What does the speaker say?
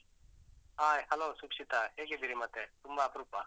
Hai hello , ಸುಕ್ಷಿತ, ಹೇಗಿದ್ದೀರಿ ಮತ್ತೆ? ತುಂಬ ಅಪ್ರೂಪ?